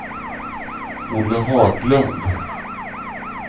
Olle Haglund